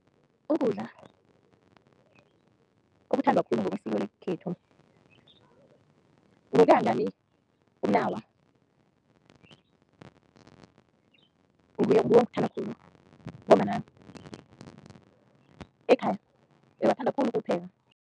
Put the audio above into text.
Ukudla okuthandwa khulu ngokwesiko lekhethu ngokuya ngami, umnawa, ngiwuthanda khulu ngombana ekhaya bebathanda khulu ukuwupheka.